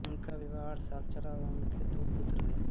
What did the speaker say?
उनका विवाह आठ साल चला और उनके दो पुत्र हुए